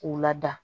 K'u lada